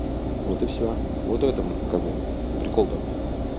вот и всё вот в этом как бы прикол-то